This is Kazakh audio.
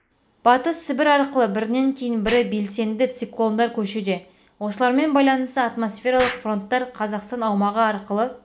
батыс сібір арқылы бірінен кейін бірі белсенді циклондар көшуде осылармен байланысты атмосфералық фронттар қазақстан аумағы арқылы